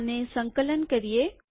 આને સંકલન કરીએ